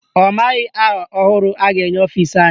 Ọ maghị aha ọhụrụ a ga-enye ọfisi anyị.